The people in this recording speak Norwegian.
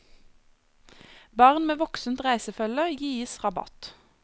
Barn med voksent reisefølge gis rabatt.